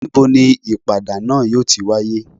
Ni bo ni ipada naa yo tí wàyé?